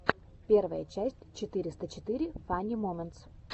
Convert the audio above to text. первая часть четыреста четыре фани моментс